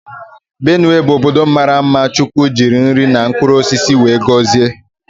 Benue bụ ọbọdọ maara mma chukwu jiri nri na mkpụrụ osisi wee gọzie.